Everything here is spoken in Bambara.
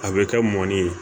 A bɛ kɛ mɔni ye